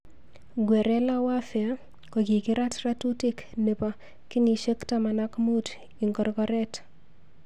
Guerrilla warfare kokikirat ratutik nebo kenyishek taman ak mut ik korgorret.